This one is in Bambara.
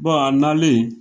a nalen